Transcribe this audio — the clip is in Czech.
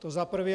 To za prvé.